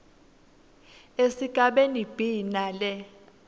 esigabeni b nale